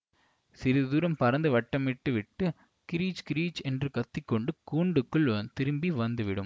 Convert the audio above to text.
சிறிது தூரம் பறந்து வட்டமிட்டு விட்டு கிறீச் கிறீச் என்று கத்தி கொண்டு கூண்டுக்குள் திரும்பி வந்து விடும்